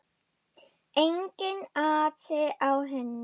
Enginn asi á henni.